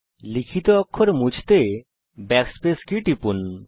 লিখিত অক্ষর মুছে ফেলতে backspace কী টিপুন